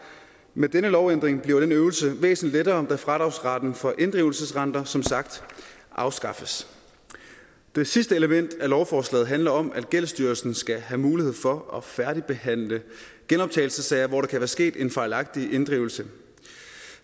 med denne lovændring bliver denne øvelse væsentlig lettere da fradragsretten for inddrivelsesrenter som sagt afskaffes det sidste element i lovforslaget handler om at gældsstyrelsen skal have mulighed for at færdigbehandle genoptagelsessager hvor der kan være sket en fejlagtig inddrivelse